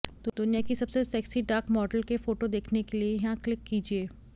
दुनिया की सबसे सेक्सी डार्क मॉडल के फोटो देखने के लिए यहां क्लिक कीजिए